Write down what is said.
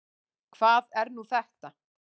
Hvað er nú þetta?